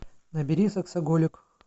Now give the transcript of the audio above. набери сексоголик